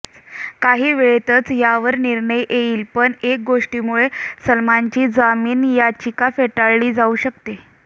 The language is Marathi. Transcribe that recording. काही वेळेतच यावर निर्णय येईल पण एका गोष्टीमुळे सलमानची जामीन याचिका फेटाळली जाऊ शकते